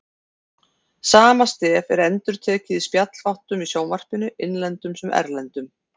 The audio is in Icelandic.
Sama stef er endurtekið í spjallþáttum í sjónvarpinu, innlendum sem erlendum.